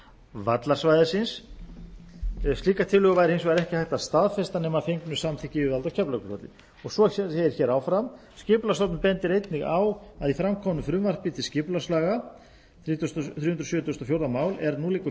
vallarsvæðisins slíka tillögu væri hins vegar ekki hægt að staðfesta nema að fengnu samþykki yfirvalda á keflavíkurflugvelli svo segir hér áfram skipulagsstofnun bendir einnig á að í framkomnu frumvarpi til skipulagslaga þrjú hundruð sjötugasta og fjórða mál er nú liggur